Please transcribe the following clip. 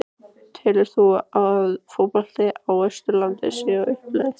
Telur þú að fótboltinn á Austurlandi sé á uppleið?